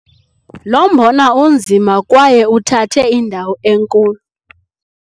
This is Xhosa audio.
Lo mbona unzima kwaye uthathe indawo enkulu.